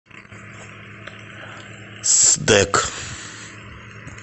сдэк